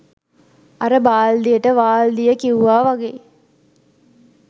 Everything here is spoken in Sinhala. අර බාල්දියට වාල්දිය කිව්ව වගේ